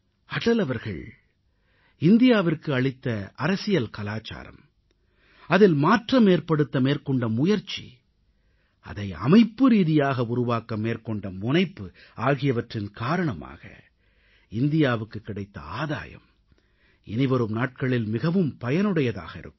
அடல் அவர்கள் இந்தியாவிற்கு அளித்த அரசியல் கலாச்சாரம் அதில் மாற்றமேற்படுத்த மேற்கொண்ட முயற்சி அதை அமைப்புரீதியாக உருவாக்க மேற்கொண்ட முனைப்பு ஆகியவற்றின் காரணமாக இந்தியாவுக்குக் கிடைத்த ஆதாயம் இனிவரும் நாட்களில் மிகவும் பயனுடையதாக இருக்கும்